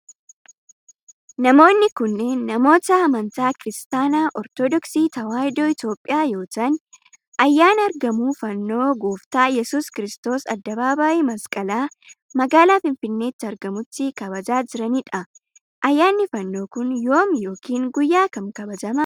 Namoonni kunneen, namoota amntoota Kiristaanaa Ortodooksii Tawaahidoo Itoophiyaa yoo ta'an, ayyaana argamuu fannoo Gooftaa Iyyasuus Kiristoos addabaabaayii masqalaa magaalaa finfinnneetti argamutti kabajaa jiranii dha. Ayyaanni fannoo kun, yoom yokin guyyaa kam kabajama?